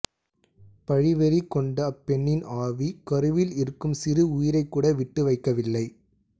பழி வெறி கொண்ட அப்பெண்ணின் ஆவி கருவில் இருக்கும் சிறு உயிரைக் கூட விட்டு வைக்கவில்லை